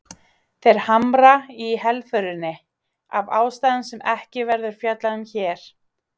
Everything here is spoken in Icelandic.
Þeir hamra á helförinni, af ástæðum sem ekki verður fjallað um hér.